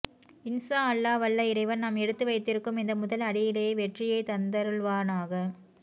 இன்ஷா அல்லாஹ் வல்ல இறைவன் நாம் எடுத்துவைத்திருக்கும் இந்த முதல்அடியிலேயே வெற்றியைத்தந்தருள்வானாக